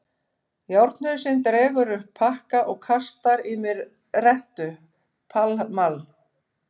Járnhausinn dregur upp pakka og kastar í mig rettu: Pall Mall.